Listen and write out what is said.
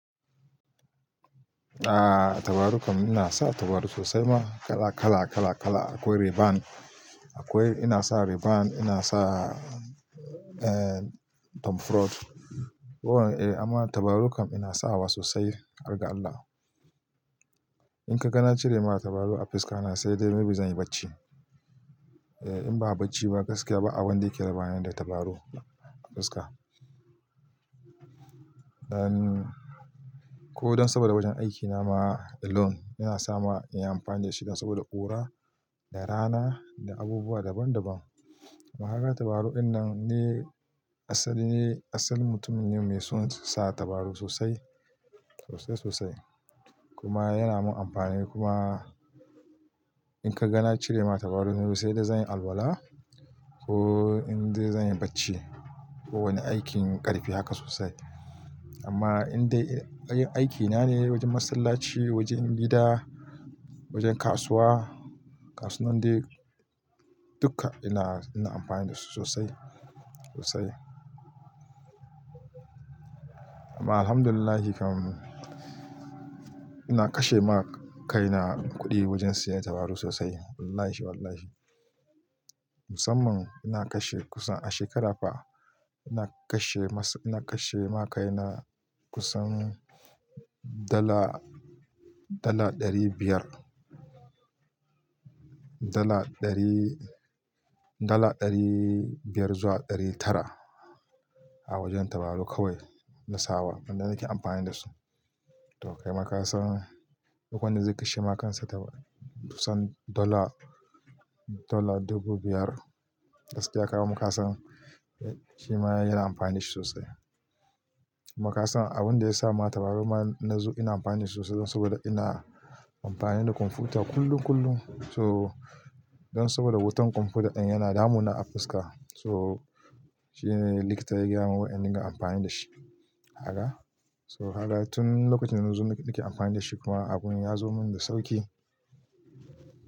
A'a tabarau kan ina sa tabarau sosai ma kala kala kala kala akwai Rayban. Akwai ina sa Rayban ina sa eh Tom Ford. Ko wana eh amma tabaraukan ina sawa sosai, har ga Allah. In ka ga nacire ma tabarau a fuska na sai dai may be zan yi bacci. Eh in ba bacci ba gaskiya ba abin da yake raba ni da tabarau a fuska. Dan ko dan saboda wajen aikina ma alone yana sama in yi amfani da shi dan saboda ƙura da rana da abubuwa daban daban. Amma kaga tabarau dinnan ne asali ne asalin mutumin ne mai son sa tabarau sosai sosai sosai kuma yana mun amfani kuma in ka gana cire ma tabarau na sai dai zan yi alwala ko in dai zan yi bacci. Ko wani aikin ƙarfi haka sosai. Amma in dai aikin na ne wajen masallaci, wajen gida, wajen kasuwa, kasuwan dai dukka ina ina amfani da su sosai sosai. Amma alhamdulillah kam ina kashe ma kaina kuɗi wajen siyan tabarau sosai wallahi wallahi. Musamman ina kashe kusan a shekara fa ina kashe masu ina kashe ma kaina kusan dala dala ɗari biyar. Dala ɗari dala ɗari biyar zuwa ɗari tara a wajen tabarau kawai na sawa wanda nake amfani da su. To kai ma kasan duk wanda zai kashe ma kansa tabarau kusan dala dala ɗubu biyar gaskiya kai ma kasan shima yana amfani shi sosai. Ma kasan abun da ya sa ma tabarau na na zo ina amfani sosai don saboda ina amfani da kwamfuta kullum kullum so don saboda wutan kwamfuta ɗin yana damuna a fuska so shine likita ya gaya mun wai in dinga amfani da shi haka so kaga tun lokacin nan da zo nake amfani da shi kuma abun ya zo mun da sauƙi.